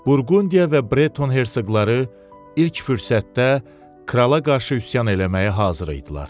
Burqundiya və Breton hersoqları ilk fürsətdə krala qarşı üsyan eləməyə hazır idilər.